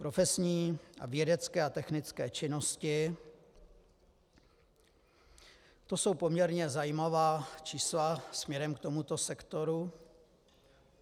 Profesní a vědecké a technické činnosti, to jsou poměrně zajímavá čísla směrem k tomuto sektoru.